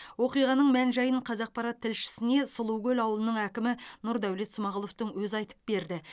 оқиғаның мән жайын қазақпарат тілшісіне сұлукөл ауылының әкімі нұрдәулет смағұловтың өзі айтып берді